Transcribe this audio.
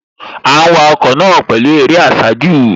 À ń wa ọkọ̀ náà pẹ̀lú eré àsájù